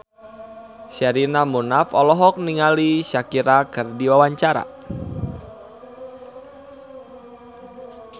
Sherina Munaf olohok ningali Shakira keur diwawancara